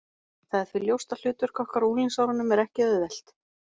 Það er því ljóst að hlutverk okkar á unglingsárunum er ekki auðvelt.